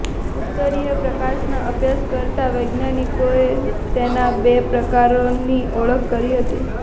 ઉત્તરીય પ્રકાશના અભ્યાસ કરતા વૈજ્ઞાનિકોએ તેના બે પ્રકારોની ઓળખ કરી હતી